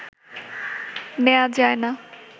নেয়া যায় না